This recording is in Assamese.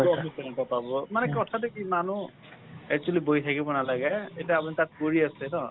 পাব । মানে কথাটো কি মানুহ actually বহি থাকিব নালাগে । এতিয়া আপুনি তাত কৰি আছে ন?